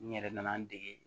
N yɛrɛ nana n dege